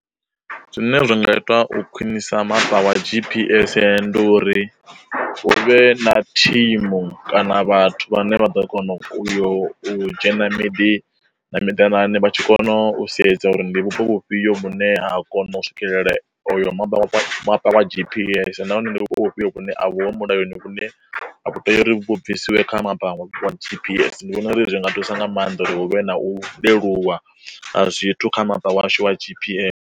Zwine zwa nga ita u khwinisa mapa wa G_P_S ndi uri, hu vhe na thimu kana vhathu vhane vha ḓo kona uyo u dzhena miḓi na miḓanane vha tshi kona u sedza uri ndi vhupo vhufhio vhune ha kona u swikelela hoyo maba, mapa wa G_P_S nahone ndi vhupo vhune a vhu ho mulayoni vhune vhu tea uri vhu bvisiwe kha mapa wa G_P_S, ndi vhona uri zwi nga thusa nga maanḓa uri hu vhe na u leluwa a zwithu kha mapa washu wa G_P_S.